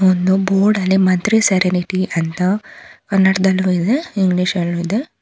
ಒಂದು ಬೋರ್ಡ್ ಅಲ್ಲಿ ಮಂತ್ರಿ ಸೆರೆನಿಟಿ ಅಂತ ಕನ್ನಡದಲ್ಲೂ ಇದೆ ಇಂಗ್ಲಿಷ್ ಅಲ್ಲೂ ಇದೆ.